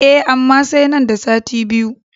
E, amma sai nan da sati biyu.